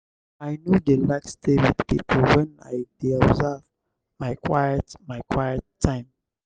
i no dey like stay wit pipo wen i dey observe my quiet my quiet time.